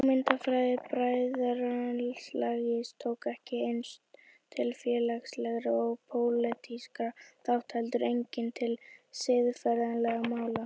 Hugmyndafræði bræðralagsins tók ekki aðeins til félagslegra og pólitískra þátta heldur einnig til siðferðislegra mála.